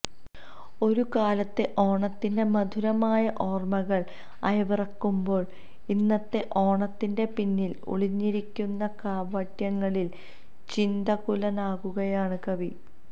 ഒരു കാലത്തെ ഓണത്തിന്റെ മധുരമായ ഓര്മ്മകള് അയവിറക്കുമ്പോള് ഇന്നത്തെ ഓണത്തിന്റെ പിന്നില് ഒളിഞ്ഞിരിക്കുന്ന കാപട്യങ്ങളില് ചിന്തകുലനാകുകയാണ് കവി